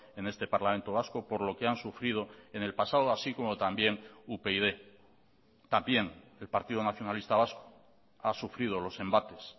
en este parlamento vasco por lo que han sufrido en el pasado así como también upyd también el partido nacionalista vasco ha sufrido los embates